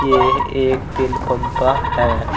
यह एक तेल पंपा है।